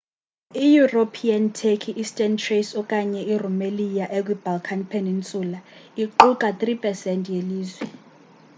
i-european turkey eastern thrace okanye i-rumelia ekwi balkan peninsula iqukai 3% yelizwe